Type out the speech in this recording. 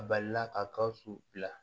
A balila ka gawusu bila